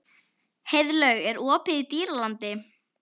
Heiðlaug, er opið í Dýralandi?